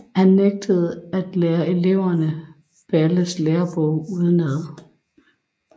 Han nægtede at lære eleverne Balles Lærebog udenad